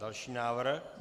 Další návrh?